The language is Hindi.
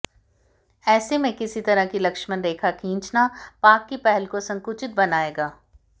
ऐसे में किसी तरह की लक्ष्मण रेखा खींचना पाक की पहल को संकुचित बनायेगा